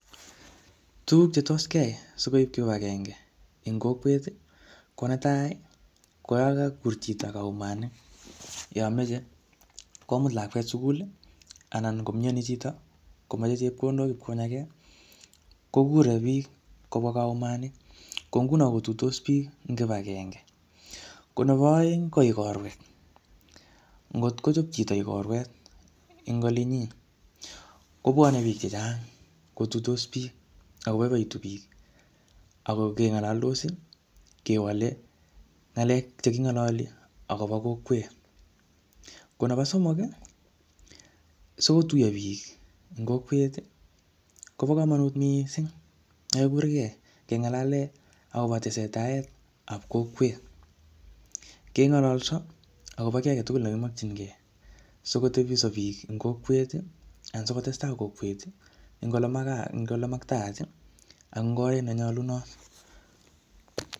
Tuguk chetos kiyai sikoib kibagenge eng kokwet, ko netai, ko yakakur chito kaumanet, yomeche komut lakwet sugul, anan komyoni chito, komeche chepkondok konyagee, kokure biik kobwa kaumani. Ko ng'unoo kotuitos biik eng kibagenge. Ko nebo aeng, ko ikorwek. Ngot ngochop chito ikorwet eng olinyii, kobwane biik chechang kotuitos biik, ako boibotu biik. Ako kengalaldos, kewale ng'alek che kingalali akobo kokwet. Ko nebo somok, sikotuyo biik eng kokwet, kobo komonut missing kekurkey, keng'alale akobo tesetaet ab kokwet. Kengololso, akobo kiy agetugul ne kimakchinkey, sikotebso biik eng kokwet, anan sikotestai kokwet eng ole eng ole maktaat, eng oret ne nyolunot